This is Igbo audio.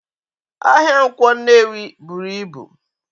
Ahia Nkwo Nnewi buru ibu